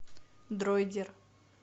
дроидер